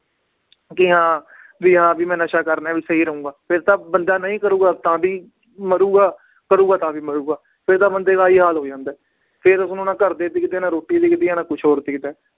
ਕਿ ਹਾਂ ਵੀ ਹਾਂ ਵੀ ਮੈਂ ਨਸ਼ਾ ਕਰ ਰਿਹਾਂ ਵੀ ਸਹੀ ਰਹਾਂਗਾ, ਫਿਰ ਤਾਂ ਬੰਦਾ ਨਹੀਂ ਕਰੇਗਾ ਤਾਂ ਵੀ ਮਰੇਗਾ, ਕਰੇਗਾ ਤਾਂ ਵੀ ਮਰੇਗਾ ਫਿਰ ਤਾਂ ਬੰਦੇ ਦਾ ਆਹੀ ਹਾਲ ਹੋ ਜਾਂਦਾ ਹੈ, ਫਿਰ ਉਸਨੂੰ ਨਾ ਘਰਦੇ ਦਿਖਦੇ ਹੈ ਨਾ ਰੋਟੀ ਦਿਖਦੀ ਹੈ ਨਾ ਕੁਛ ਹੋਰ ਦਿਖਦਾ ਹੈ।